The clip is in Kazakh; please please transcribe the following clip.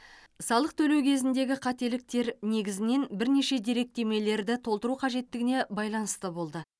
салық төлеу кезіндегі қателіктер негізінен бірнеше деректемелерді толтыру қажеттігіне байланысты болды